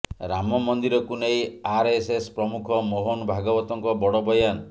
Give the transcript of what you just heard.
ରାମ ମନ୍ଦିରକୁ ନେଇ ଆରଏସଏସ ପ୍ରମୁଖ ମୋହନ ଭାଗବତଙ୍କ ବଡ ବୟାନ